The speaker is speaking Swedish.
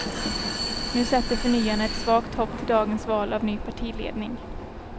Nu sätter förnyarna ett svagt hopp till dagens val av ny partiledning.